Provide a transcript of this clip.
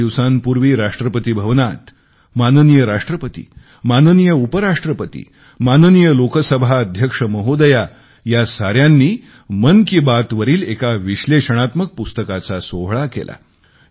दोन दिवसांपूर्वी राष्ट्रपती भवनात माननीय राष्ट्रपती माननीय उपराष्ट्रपती माननीय लोकसभा अध्यक्ष महोदया या साऱ्यांनी मन की बात वरील एका विश्लेषणात्मक पुस्तकाचे प्रकाशन केले